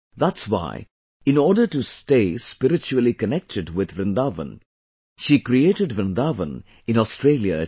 That's why, in order to stay spiritually connected with Vrindavan, she created Vrindavan in Australia itself